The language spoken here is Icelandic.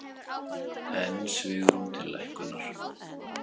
Enn svigrúm til lækkunar